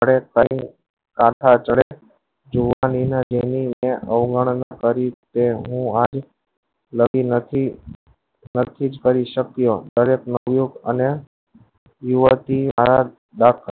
અઢા આચરે અવગણો ને તરી હું આ લાતી નથી નથી કરી સક્યો અને બાત કરે